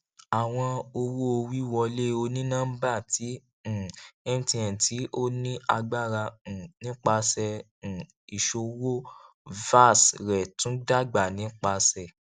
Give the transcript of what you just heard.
awọn owowiwọle oninọmba ti um mtn ti o ni agbara um nipasẹ um iṣowo vas rẹ tun dagba nipasẹ